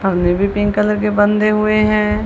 अभी भी pink colour के बंधे हुए हैं।